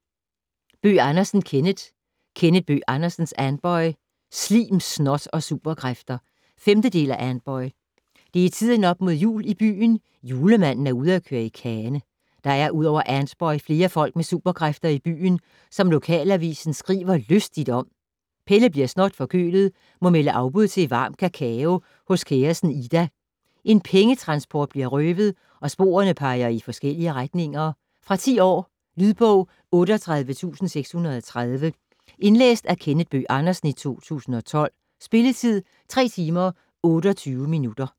Bøgh Andersen, Kenneth: Kenneth Bøgh Andersens Antboy - slim, snot og superkræfter 5. del af Antboy. Det er tiden op mod jul i byen, julemanden er ude at køre kane. Der er udover Antboy flere folk med superkræfter i byen, som lokalavisen skriver lystigt om. Pelle bliver snotforkølet må melde afbud til varm kakao hos kæresten Ida. En pengetransport bliver røvet, og sporene peger i forskellige retninger. Fra 10 år. Lydbog 38630 Indlæst af Kenneth Bøgh Andersen, 2012. Spilletid: 3 timer, 28 minutter.